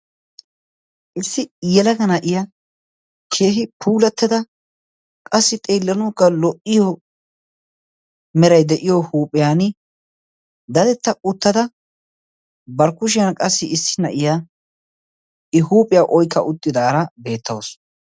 Issi yelaga na'iya keehi puulattada qassi xeillanugga lo"iyo meray de'iyo huuphiyan dadetta uttada barkkushiyan qassi issi na'iya i huuphiyaa oikka uttidaara beettaosu.